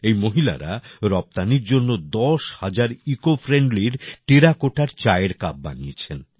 এই মহিলারা রপ্তানির জন্য দশ হাজার ইকোফ্রেন্ডলির টেরাকোটার চায়ের কাপ বানিয়েছেন